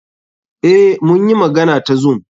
Eh, mun yi magana ta zoom.